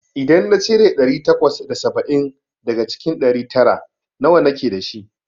idan na cire ɗari takwas da saba'in daga cikin ɗari tara, nawa nake dashi?